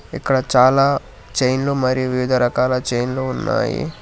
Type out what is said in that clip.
ఇక్కడ చాలా చైన్లు మరియు వివిధ రకాల చైన్లు ఉన్నాయి.